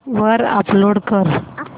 वर अपलोड कर